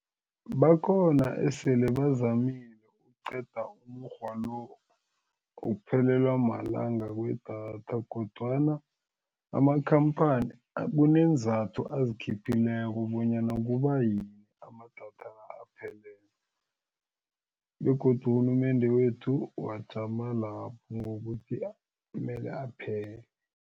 Bakhona esele bazamile ukuqeda umukghwa lo wokuphelelwa malanga kwedatha kodwana amakhamphani kuneenzathu azikhiphileko bonyana kubayini amadatha aphele begodu urhulumende wethu wajama lapho ngokuthi mele aphele.